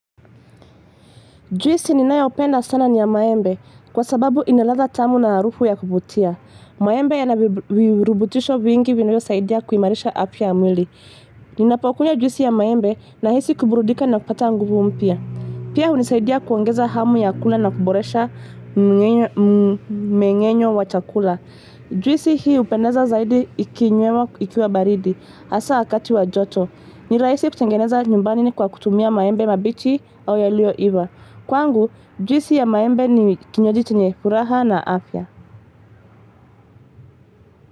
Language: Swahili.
Juisi ninayopenda sana niya maembe kwa sababu inaladha tamu na arufu ya kuvutia. Maembe yana birubutisho vingi vinavyosaidia kuimarisha afya ya mwili. Ninapakunywa juisi ya maembe nahisi kuburudika na kupata nguvu mpya. Pia unisaidia kuongeza hamu ya kula na kuboresha meng'enyo wa chakula. Juisi hii upendeza zaidi ikinywewa baridi. Asa wakati wa joto. Ni raisi kutengeneza nyumbani ni kwa kutumia maembe mabichi au yaliyoiva. Kwangu, juisi ya maembe ni kinywaji chenye furaha na afya.